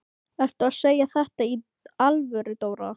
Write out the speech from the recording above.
Ertu að segja þetta í alvöru, Dóra?